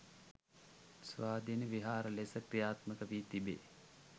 ස්වාධීන විහාර ලෙස ක්‍රියාත්මක වී තිබේ.